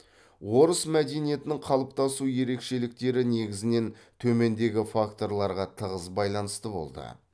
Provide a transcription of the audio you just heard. орыс мәдениетінің қалыптасу ерекшеліктері негізінен төмендегі факторларға тығыз байланысты болды